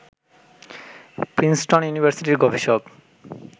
Princeton ইউনিভার্সিটির গবেষক